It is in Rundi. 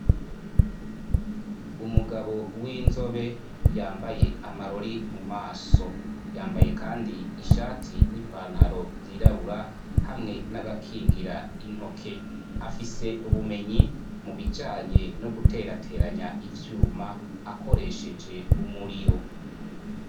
Umugabo w'inzobe ,yambaye amarori mu maso, yambaye kandi ishati n'ipantaro zirabura ,hamwe n'agakingira intoke, afise ubumenyi mu bijanye no guterateranya ivyuma akoresheje umuriro.